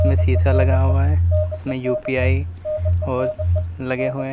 इनमें शीशा लगा हुआ है उसमें यूं_पी_आईं और लगे हुए हैं।